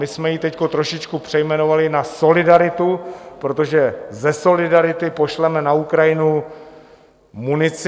My jsme ji teď trošičku přejmenovali na solidaritu, protože ze solidarity pošleme na Ukrajinu munici.